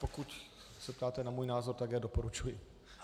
Pokud se ptáte na můj názor, tak já doporučuji.